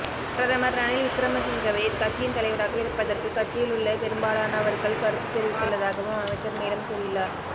பிரதமர் ரணில் விக்ரமசிங்கவே கட்சியின் தலைவராக இருப்பதற்கு கட்சியிலுள்ள பெரும்பாலானவர்கள் கருத்துத் தெரிவித்துள்ளதாகவும் அமைச்சர் மேலும் கூறியுள்ளார்